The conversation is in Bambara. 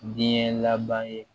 Diɲɛ laban ye